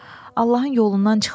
Allahın yolundan çıxmışam.